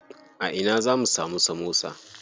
A ina zamu samu samosa?